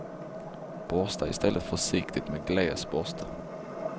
Borsta i stället försiktigt med gles borste.